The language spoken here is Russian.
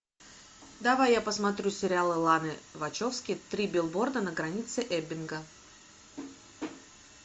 давай я посмотрю сериал ланы вачовски три билборда на границе эббинга